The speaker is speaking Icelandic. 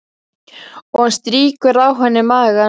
Og hann strýkur á henni magann.